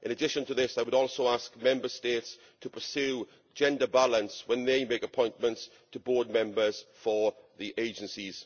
In addition to this, I would also ask Member States to pursue gender balance when they make appointments to board members for the agencies.